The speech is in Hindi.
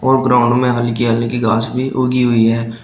ग्राउंड में हल्की हल्की घास भी उगी हुई है।